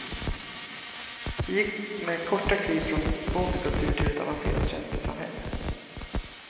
Vi gick med korta kliv från en bondekultur till ett avancerat tjänstesamhälle.